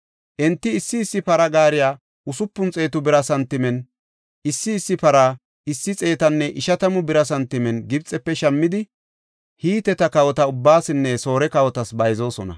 Enti issi issi para gaariya usupun xeetu bira santimen, issi issi para issi xeetanne ishatamu bira santimen Gibxefe shammidi, Hiteta kawota ubbaasinne Soore kawotas bayzoosona.